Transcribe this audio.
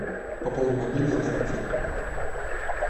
пополни мобильный на пятьсот рублей